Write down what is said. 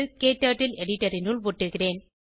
க்டர்ட்டில் எடிட்டர் னுள் ஒட்டுகிறேன்